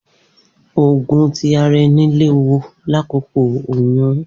Oogun ti ara ẹni lewu lakoko oyun